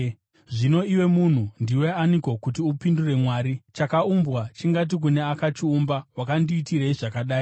Zvino iwe munhu, ndiwe aniko, kuti upindure Mwari? “Chakaumbwa chingati kune akachiumba, ‘Wakandiitirei zvakadai?’ ”